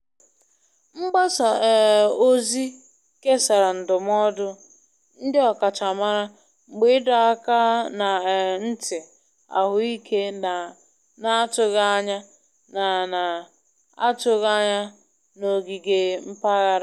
Mgbasa um ozi kesara ndụmọdụ ndị ọkachamara mgbe ịdọ aka na um ntị ahụike na-atụghị anya na na-atụghị anya na ogige mpaghara.